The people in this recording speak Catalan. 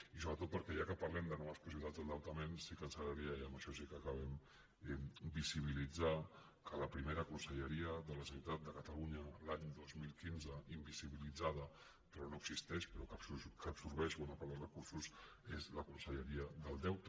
i sobretot perquè ja que parlem de noves possibilitats d’endeutament sí que ens agradaria i amb això sí que acabem visibilitzar que la primera conselleria de la generalitat de catalunya l’any dos mil quinze invisibilitza·da però no existeix però que absorbeix bona part dels recursos és la conselleria del deute